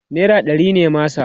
naira ɗari ne masa